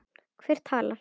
Hver talar?